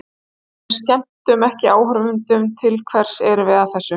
Ef við skemmtum ekki áhorfendum, til hvers erum við að þessu?